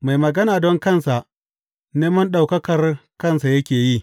Mai magana don kansa, neman ɗaukakar kansa yake yi.